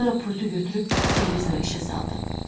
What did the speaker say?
Sonra pultu götürüb televizoru işə saldım.